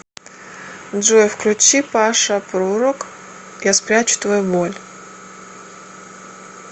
джой включи паша прурок я спрячу твою боль